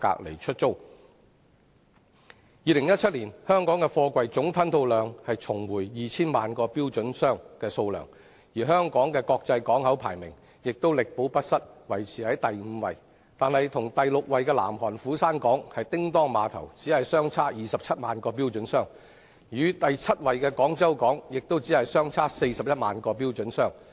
香港2017年的貨櫃總吞吐量重回 2,000 萬個標準箱的水平，國際排名因而力保第五位，但與第六位的南韓斧山港相比，只相差27萬個標準箱；與第七位的廣州港亦只相差41萬個標準箱。